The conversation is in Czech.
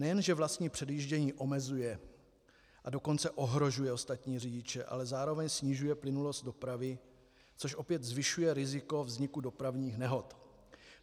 Nejen že vlastní předjíždění omezuje, a dokonce ohrožuje ostatní řidiče, ale zároveň snižuje plynulost dopravy, což opět zvyšuje riziko vzniku dopravních nehod.